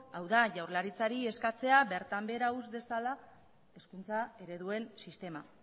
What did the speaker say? hau da jaurlaritzari eskatzea bertan behera utz dezala hizkuntza ereduen sistema